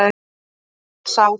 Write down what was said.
Hann er oft sár.